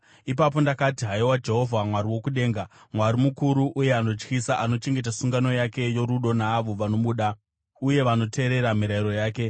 Ipapo ndakati: “Haiwa Jehovha, Mwari wokudenga, Mwari mukuru uye anotyisa anochengeta sungano yake yorudo naavo vanomuda uye vanoteerera mirayiro yake,